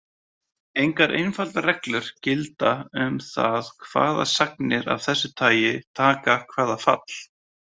Engar einfaldar reglur gilda um það hvaða sagnir af þessu tagi taka hvaða fall.